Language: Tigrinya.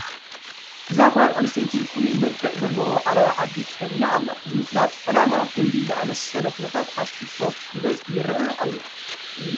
እዛ ጓል ኣነስተይቲ ፍሉይ መልክዕ ዘለዎ ዓለባ ዓዲ ተኸዲና ኣላ፡፡ ንምፍላጥ ዕላማ ከምዚ ዝኣምሰለ ኩነታት ኣብ ቲክቶክ ብብዝሒ ይርአ እዩ፡፡